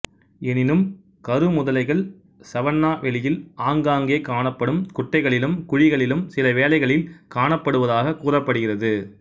எனினும் கருமுதலைகள் சவன்னா வெளியில் ஆங்காங்கே காணப்படும் குட்டைகளிலும் குழிகளிலும் சிலவேளைகளில் காணப்படுவதாகக் கூறப்படுகிறது